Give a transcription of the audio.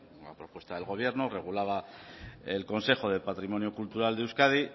una propuesta del gobierno regulaba el consejo de patrimonio cultural de euskadi